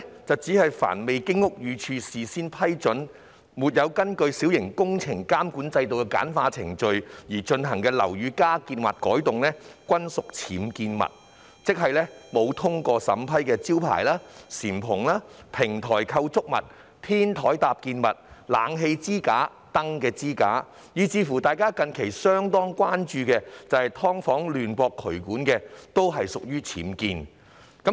定義上，"凡未經屋宇署事先批准或沒有根據小型工程監管制度的簡化程序而進行的樓宇加建或改動，均屬僭建物"，即沒有通過審批的招牌、簷篷、平台構築物、天台搭建物、冷氣機支架、燈支架，以至大家近日相當關注的"劏房"亂駁渠管，均屬僭建。